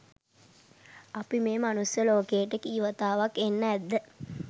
අපි මේ මනුස්ස ලෝකයට කී වතාවක් එන්න ඇද්ද